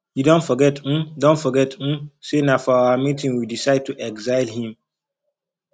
you don forget um don forget um say na for our meeting we decide to exile him